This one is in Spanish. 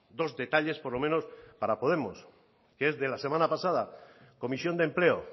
dos detalles por lo menos para podemos que es de la semana pasada comisión de empleo